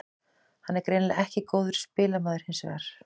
Hann er greinilega ekki góður spilamaður hinsvegar.